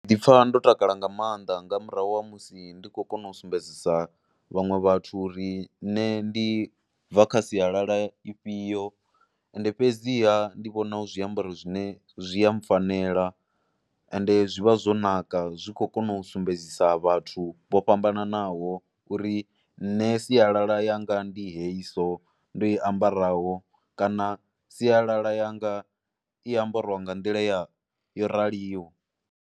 Ndi ḓipfha ndo takala nga maanḓa nga murahu ha musi ndi kho kona u sumbedzisa vhaṅwe vhathu uri nṋe ndi bva kha sialala ifhio and fhedziha ndi vhona u zwiambaro zwine zwi a mpfhanela and zwi vha zwo naka zwi khou kona u sumbedzisa vhathu vho fhambananaho uri nṋe sialala yanga ndi hao so ndo i ambaraho kana sialala yanga i ambariwa nga nḓila ya yo raliho.